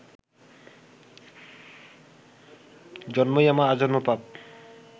জন্মই আমার আজন্ম পাপ